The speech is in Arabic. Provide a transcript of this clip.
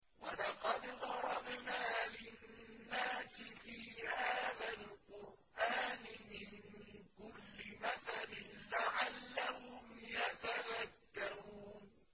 وَلَقَدْ ضَرَبْنَا لِلنَّاسِ فِي هَٰذَا الْقُرْآنِ مِن كُلِّ مَثَلٍ لَّعَلَّهُمْ يَتَذَكَّرُونَ